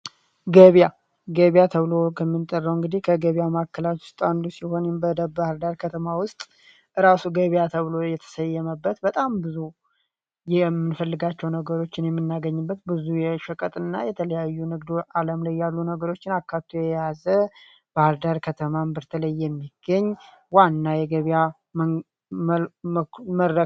ገብያ ገብያ ተብሎ ከሚጠራው እግዲ ከገበያ ማዕከላት ውስጥ አንዱ ሲሆን ባህዳር ከተማ ወስጥ እራሱ ገበያ ተብሎ የተሰየመበት በጣም ብዙ የምንፈልጋቸውን ነገሮች የምናገኝሰት ብዙ የሸቀጥ እና የተለያዩ ንግድ ላይ አለማ ላይ ያሉ ነገሮችን አካቶ የያዘ ባህዳር ከተማ በተለየ ሚገኝ ዋና ነው። ገበያ